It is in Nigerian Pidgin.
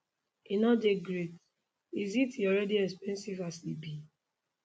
e no dey great is it e already expensive as e be